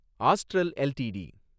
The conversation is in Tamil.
astral LTD